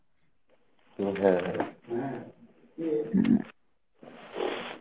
হ্যাঁ হ্যাঁ